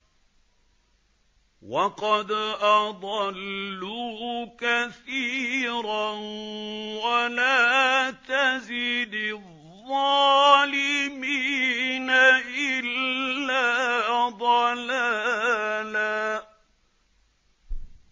وَقَدْ أَضَلُّوا كَثِيرًا ۖ وَلَا تَزِدِ الظَّالِمِينَ إِلَّا ضَلَالًا